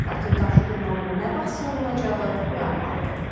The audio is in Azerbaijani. Lakin qarşıdurmanın nə vaxt sonlanacağı müəmmalıdır.